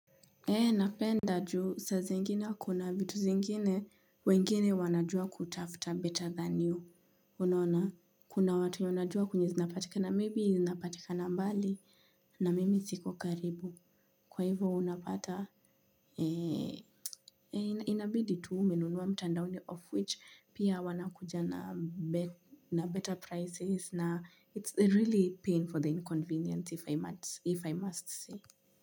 Ee napenda juu saa zingine kuna vitu zingine wengine wanajua kutafuta 'better than you' unaona kuna watu wanajua kwenye zinapatika na maybe,' zinapatika mbali na mimi siko karibu, kwa hivo unapata inabidi tu umenunua mtandaoni 'of which' pia wanakuja na better prices na it's really paying for the inconvenience if i must if i must say.